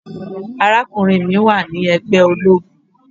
Arákùnrin mi wà ní ègbé ológun.